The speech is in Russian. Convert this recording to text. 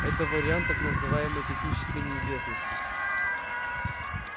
это вариант так называемой технической неизвестности